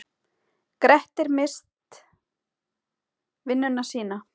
Grettir misst vinnuna sína.